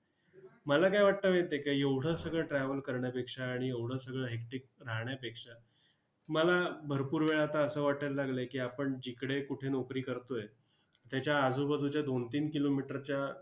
मला काय वाटतय माहिती आहे का? एवढं सगळं travel करण्यापेक्षा आणि एवढं सगळं hectic राहण्यापेक्षा मला भरपूर वेळा आता असं वाटायला लागलंय की, आपण जिकडे कुठे नोकरी करतोय, त्याच्या आजूबाजूच्या दोन-तीन kilometer च्या